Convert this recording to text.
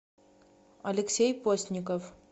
алексей постников